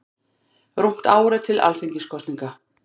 Rúmt ár er til Alþingiskosninga.